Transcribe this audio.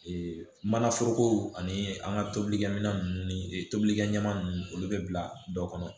Ee mana foroko ani an ka tobilikɛminɛn ninnu ni tobilikɛminɛn ninnu olu bɛ bila dɔ kɔnɔ